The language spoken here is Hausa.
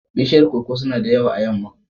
Bishiyar koko suna da yawa a yamma.